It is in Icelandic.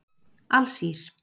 Alsír